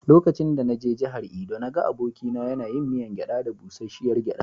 Lokacin da na je jihar Edo, na ga abokina yana yin miyan gyada da busasshiyar gyada.